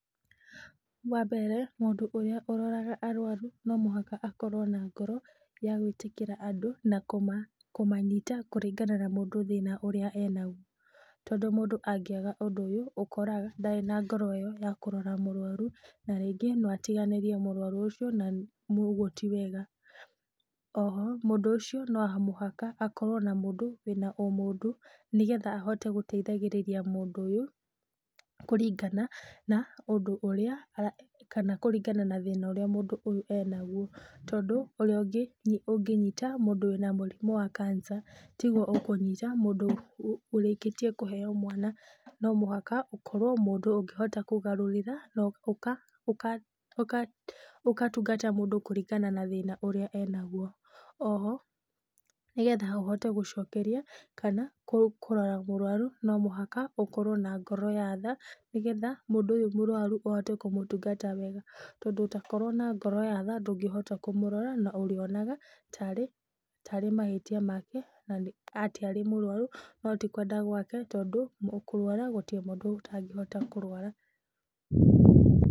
Wambere, mũndũ ũrĩa ũroraga arwaru nomũhaka akorwo na ngoro ya gwĩtĩkĩra andũ nakũma, kũmanyita kũringana na mũndũ thĩna ũrĩa enaguo, tondũ mũndũ angĩaga ũndũ ũyũ, ũkoraga ndarĩ na ngoro ĩyo ya kũrora mũrwaru na rĩngĩ noatiganĩrie mũrwaru ũcio na, ũguo ti wega, oho, mũndũ ũcio no mũhaka akorwo na mũndũ wĩna ũmũndũ, nĩgetha ahote gũteithagĩrĩria mũndũ ũyũ, kũringana na ũndũ ũria e, kana kũringana na thĩna ũrĩa mũndũ ũyũ enaguo, tondũ ũrĩa ũngĩ ũngĩnyita mũndũ wĩna mũrimũ wa cancer tiguo ũkũnyita mũndũ ũrĩkĩtie kũheo mwana, no mũhaka ũkorwo mũndũ ũngĩhota kũgarũrĩra, na ũka ũka ũkatungata mũndũ kũringana na thĩna ũrĩa enaguo, oho, nĩgetha ũhote gũcokeria kana kũrora mũrwaru, nomũhaka ũkorwo na ngoro ya tha, nĩgetha mũndũ ũyũ mũrwaru ũhote kũmũtungata wega, tondũ ũtakorwo na ngoro ya tha ndũngĩhota kũmũrora na ũrĩonaga tarĩ tarĩ ahĩtia make na atĩ arĩ mũrwaru, noti kwenda agwake, tondũ kũrwara, gũtirĩ mũndũ ũtangĩhota kũrwara.